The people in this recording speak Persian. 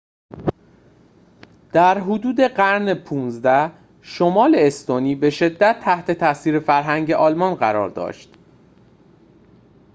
در حدود قرن ۱۵ شمال استونی به شدت تحت تأثیر فرهنگ آلمان قرار داشت